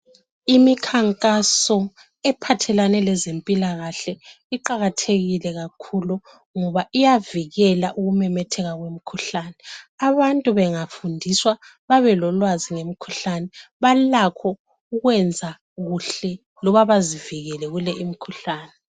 Imikhankaso ephathelane lezempilakahle iqakathekile kakhulu ngoba iyavikela ukumemetheka komkhuhlane. Abantu bengafundiswa babe lolwazi ngemikhuhlane balakho ukwenza kuhle loba bazivikele kule imikhuhlane.